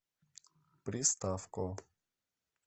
приставко